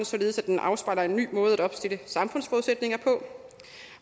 således at den afspejler en ny måde at opstille samfundsforudsætninger på